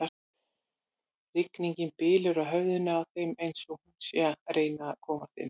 Rigningin bylur á höfðinu á þeim eins og hún sé að reyna að komast inn.